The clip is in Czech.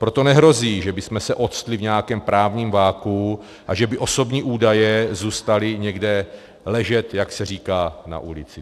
Proto nehrozí, že bychom se ocitli v nějakém právním vakuu a že by osobní údaje zůstaly někde ležet, jak se říká, na ulici.